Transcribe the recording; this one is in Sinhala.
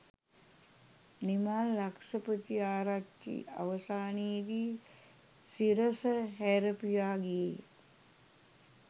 නිමල් ලක්ෂපතිආරච්චි අවසානයේදි සිරස හැරපියා ගියේය